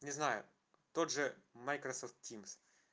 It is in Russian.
не знаю тот же майкрософт тимс